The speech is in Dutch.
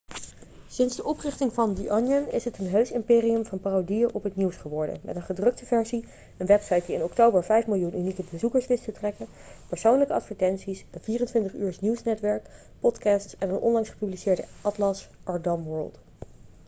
sinds de oprichting van the onion is het een heus imperium van parodieën op het nieuws geworden met een gedrukte versie een website die in oktober 5.000.000 unieke bezoekers wist te trekken persoonlijke advertenties een 24-uursnieuwsnetwerk podcasts en een onlangs gepubliceerde atlas: our dumb world